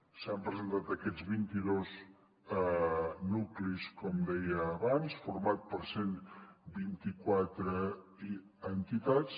s’han presentat aquests vint i dos nuclis com deia abans format per cent i vint quatre entitats